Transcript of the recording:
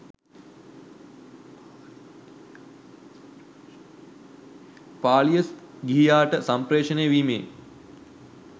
පාලිය ගිහියාට සම්පේ්‍රෂණය වීමේ